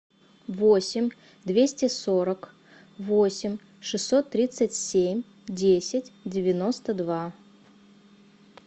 восемь двести сорок восемь шестьсот тридцать семь десять девяносто два